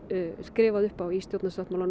skrifað upp á í stjórnarsáttmála